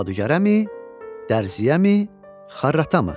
Cadügərəmi, dərziyəmi, xarratamı?